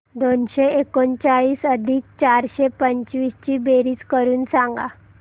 दोनशे एकोणचाळीस अधिक चारशे पंचवीस ची बेरीज करून सांगा